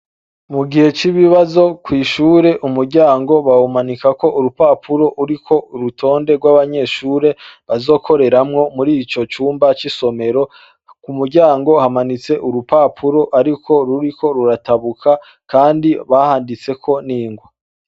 Mu gihe c'ibibazo kw'ishure, umuryango bawumanikako urupapuro ruriko urutonde rw'abanyeshure bazokoreramwo muri ico cumba c'isomero. Ku muryango hamanitse urupapuro ariko ruriko ruratabuka kandi bahanditseko n'ingwa.